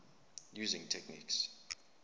using techniques